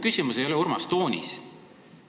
Küsimus ei ole, Urmas, toonis.